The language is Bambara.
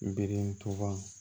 Birituba